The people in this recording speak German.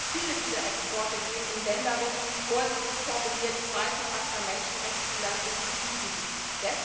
Viele dieser Exporte gehen in Länder mit vorsichtig formuliert zweifelhafter Menschenrechtsbilanz und in Krisengebiete.